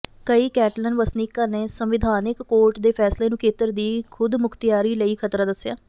ਕਈ ਕੈਟਲਨ ਵਸਨੀਕਾਂ ਨੇ ਸੰਵਿਧਾਨਕ ਕੋਰਟ ਦੇ ਫੈਸਲੇ ਨੂੰ ਖੇਤਰ ਦੀ ਖੁਦਮੁਖਤਿਆਰੀ ਲਈ ਖ਼ਤਰਾ ਦੱਸਿਆ